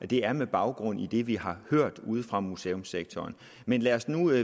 det er med baggrund i det vi har hørt ude fra museumssektoren men lad os nu